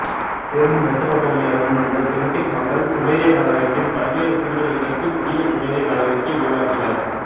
தென் மெசபடோமியாவிலிருந்து வந்த செமிட்டிக் மக்கள் சுமேரிய நாகரிகத்தின் பல்வேறு கூறுகளை இணைத்து புதிய சுமேரிய நாகரிகத்தை உருவாக்கினர்